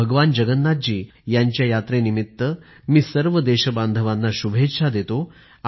भगवान जगन्नाथजी यांच्या यात्रेनिमित्त मी सर्व देशबांधवांना शुभेच्छा देतो